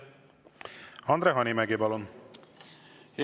Andre Hanimägi, palun!